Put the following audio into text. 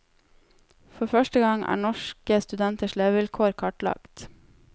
For første gang er norske studenters levekår kartlagt.